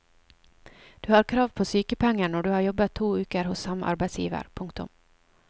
Du har krav på sykepenger når du har jobbet to uker hos samme arbeidsgiver. punktum